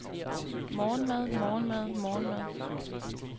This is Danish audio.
morgenmad morgenmad morgenmad